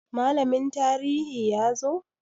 Malamin tarihi ya zo?